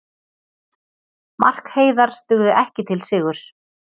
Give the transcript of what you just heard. Mark Heiðars dugði ekki til sigurs